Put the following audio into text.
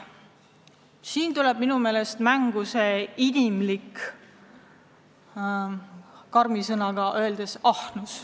Siin tuleb minu meelest mängu inimlik ahnus – karm sõna tõesti.